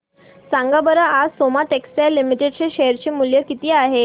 सांगा बरं आज सोमा टेक्सटाइल लिमिटेड चे शेअर चे मूल्य किती आहे